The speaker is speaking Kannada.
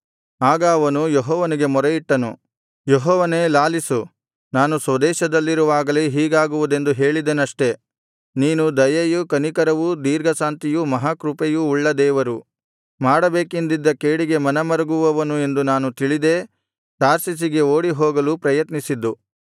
ಆಗ ಅವನು ಯೆಹೋವನಿಗೆ ಮೊರೆಯಿಟ್ಟನು ಯೆಹೋವನೇ ಲಾಲಿಸು ನಾನು ಸ್ವದೇಶದಲ್ಲಿರುವಾಗಲೇ ಹೀಗಾಗುವುದೆಂದು ಹೇಳಿದೆನಷ್ಟೆ ನೀನು ದಯೆಯೂ ಕನಿಕರವೂ ದೀರ್ಘಶಾಂತಿಯೂ ಮಹಾಕೃಪೆಯೂ ಉಳ್ಳ ದೇವರು ಮಾಡಬೇಕೆಂದಿದ್ದ ಕೇಡಿಗೆ ಮನಮರುಗುವವನು ಎಂದು ನಾನು ತಿಳಿದೇ ತಾರ್ಷೀಷಿಗೆ ಓಡಿಹೋಗಲು ಪ್ರಯತ್ನಿಸಿದ್ದು